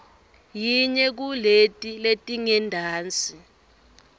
yinye kuleti letingentasi